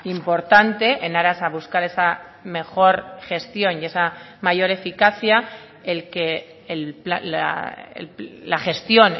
importante en aras a buscar esa mejor gestión y esa mayor eficacia el que la gestión